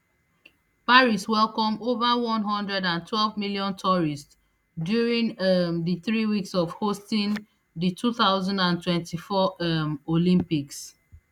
paris welcome over one hundred and twelve million tourists during um di three weeks of hosting di two thousand and twenty-four um olympics